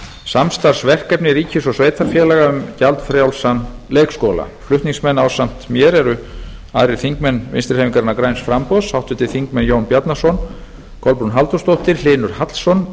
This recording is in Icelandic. samstarfsverkefni ríkis og sveitarfélaga um gjaldfrjálsan leikskóla flutningsmenn ásamt mér eru aðrir þingmenn vinstri hreyfingarinnar græns framboðs háttvirtir þingmenn jón bjarnason kolbrún halldórsdóttir hlynur hallsson